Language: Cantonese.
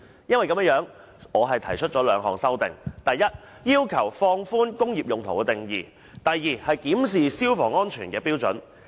我為此提出兩項修訂，第一，要求放寬"工業用途"的定義；第二，檢視消防安全的標準。